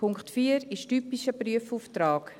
Punkt 4 ist ein typischer Prüfauftrag.